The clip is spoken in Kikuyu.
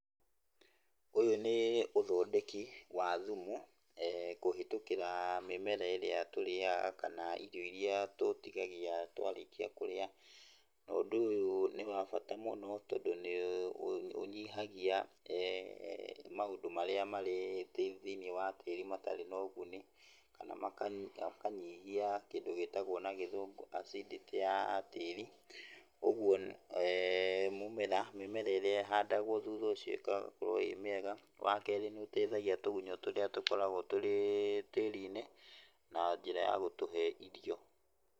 Ũyũ nĩ uthondeki wa thumu kũhetũkĩra mĩmera ĩrĩa tũrĩaga kana irio iria tũtigagia twarĩkia kũrĩa. Ũndũ ũyũ nĩ wabata mũno tondũ nĩ ũnyihagia maũndũ marĩa marĩ thĩiniĩ wa tĩri matarĩ na ũguni kana makanyihia kĩndũ gĩtagwo na gĩthũngũ acindĩtĩ ya tĩri, ũguo mũmera, mĩmera ĩrĩa ĩhandagwo thutha ũcio ĩgakorwo ĩ mĩega. Wa kerĩ, nĩ ĩtethagia tũgunyũ tũrĩa tũkoragwo tũrĩ tĩri-inĩ na njĩra ya gũtũhe irio.